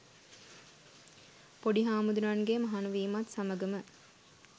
පොඩි හාමුදුරුවන්ගේ මහණ වීමත් සමගම,